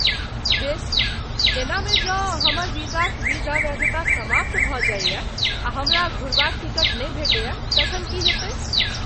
बेस, एहनामे जँ हमर वीजाक वीजा वैधता समाप्त भऽ जाइए आ हमरा घुरबाक टिकट नै भेटैए तँ तखन की हेतै?